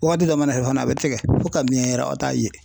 Wagati dɔ mana se fana a bɛ tigɛ fo ka miyɛn yɛrɛ aw t'a ye.